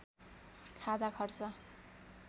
खाजा खर्च